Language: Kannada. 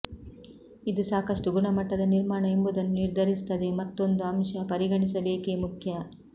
ಇದು ಸಾಕಷ್ಟು ಗುಣಮಟ್ಟದ ನಿರ್ಮಾಣ ಎಂಬುದನ್ನು ನಿರ್ಧರಿಸುತ್ತದೆ ಮತ್ತೊಂದು ಅಂಶ ಪರಿಗಣಿಸಬೇಕೆ ಮುಖ್ಯ